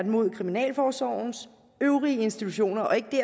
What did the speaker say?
mod kriminalforsorgens øvrige institutioner og ikke